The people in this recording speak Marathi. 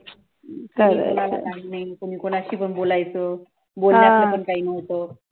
कुणाला काही नाही, कोणी कोनशीपण बोलायचं, बोलण्याचं पण काही नव्हतं